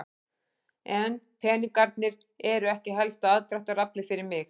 En peningarnir eru ekki helsta aðdráttaraflið fyrir mig.